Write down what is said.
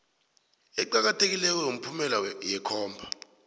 eqakathekileko yomphumela yekhomba